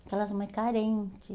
Aquelas mãe carente.